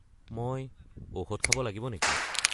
মই ঔষধ খাব লাগিব নেকি?